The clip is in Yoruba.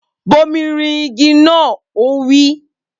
Bomi rin igi naa! Ó wí.